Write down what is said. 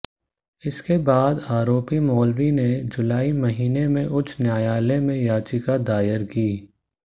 इसके बाद आरोपी मौलवी ने जुलाई महीने में उच्च न्यायालय में याचिका दायर की